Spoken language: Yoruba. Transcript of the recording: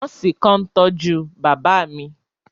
Nọọsi kan n tọju baba mi.